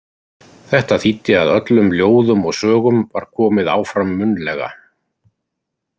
Þetta þýddi að öllum ljóðum og sögum var komið áfram munnlega.